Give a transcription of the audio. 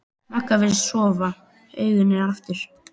Magga virðist sofa, augun eru aftur.